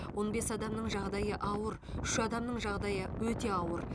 он бес адамның жағдайы ауыр үш адамның жағдайы өте ауыр